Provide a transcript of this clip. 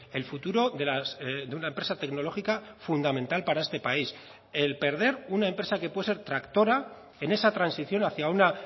el futuro de una empresa tecnológica fundamental para este país el perder una empresa que puede ser tractora en esa transición hacia una